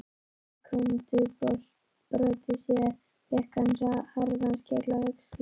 Sekúndubroti síðar fékk hann harðan skell á öxlina.